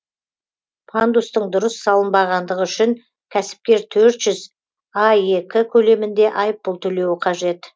пандустың дұрыс салынбағандығы үшін кәсіпкер төрт жүз аек көлемінде айыппұл төлеуі қажет